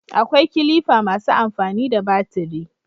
akwai kilifa masu amfani da batiri